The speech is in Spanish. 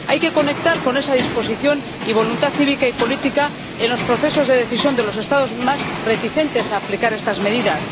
Hay que conectar con esa disposición y tener voluntad cívica y política en los procesos de decisión de los Estados más reticentes a aplicar estas medidas.